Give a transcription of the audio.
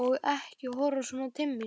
Og ekki horfa svona til mín!